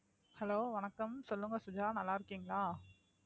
hello வணக்கம் சொல்லுங்க சுஜா நல்லா இருக்கீங்களா